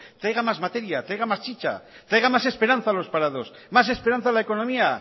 traigan más materias traigan más chicha traigan más esperanza a los parados más esperanza a la economía